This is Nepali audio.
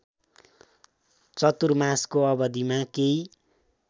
चतुर्मासको अवधिमा केही